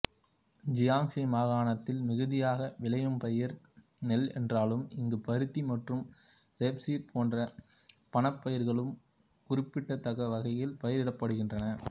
Jiangxi மாகாணத்தில் மிகுதியாக விளையும்பயிர் நெல் என்றாலும் இங்கு பருத்தி மற்றும் ரேப்சீடு போன்ற பணப்பயிர்களும் குறிப்பிடத்தக்கவகையில் பயிரிடப்படுகின்றன